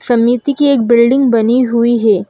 समिति की एक बिल्डिंग बनी हुई है।